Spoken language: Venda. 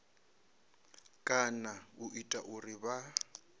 kana u ita uri vha